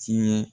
Tiɲɛ